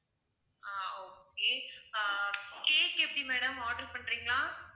ஆஹ் okay ah cake எப்படி madam order பண்றீங்களா?